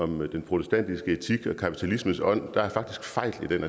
den protestantiske etik og kapitalismens ånd er der faktisk fejl i